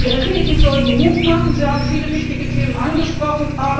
Ihre Reden sollten Mut machen. Sie haben viele wichtige Themen angesprochen.